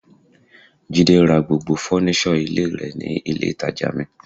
Jide ra gbogbo fọ́nísọ̀ ilé rẹ̀ ní ilé ìtàjà mi.